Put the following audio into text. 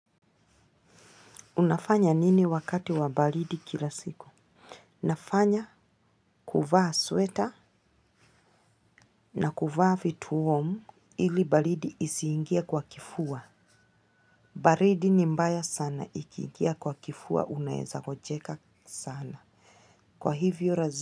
Unafanya nini wakati wa baridi kila siku? Nafanya kuvaa sweta na kuvaa vituo warm ili baridi isiingie kwa kifua. Baridi ni mbaya sana ikiingia kwa kifua unaweza ngojeka sana. Kwa hivyo.